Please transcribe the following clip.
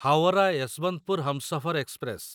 Howrah Yesvantpur Humsafar express